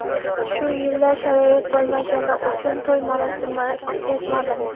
Shu yillar sharoit bo‘lmagani uchun to‘y marosimi o‘tkazmadim.